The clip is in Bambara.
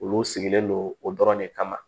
Olu sigilen don o dɔrɔn de kama